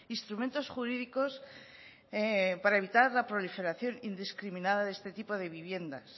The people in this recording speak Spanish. instrumentos jurídicos para evitar la proliferación indiscriminada de este tipo de viviendas